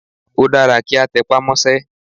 Ó dára kí a tẹpá mọ́sẹ́.